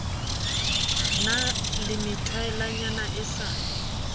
na le methwaelanyana e sa